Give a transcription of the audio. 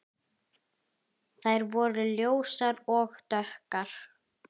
Þær voru ljósar og dökkar.